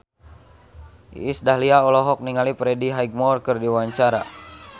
Iis Dahlia olohok ningali Freddie Highmore keur diwawancara